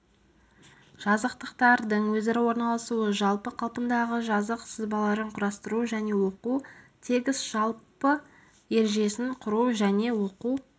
жазықтықтардың өзара орналасуы жалпы қалпындағы жазық сызбаларын құрастыру және оқу тегіс жалпы ережесін құру және оқу